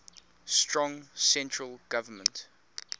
strong central government